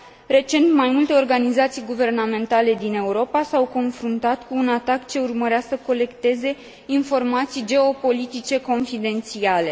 Recent, mai multe organizații guvernamentale din Europa s au confruntat cu un atac ce urmărea să colecteze informații geopolitice confidențiale.